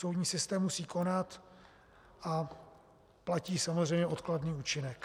Soudní systém musí konat a platí samozřejmě odkladný účinek.